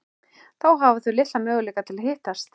Þá hafa þau litla möguleika til að hittast.